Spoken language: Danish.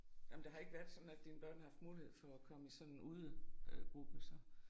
Ej men der har ikke været sådan at dine børn har haft mulighed for at komme i sådan en ude øh gruppe så?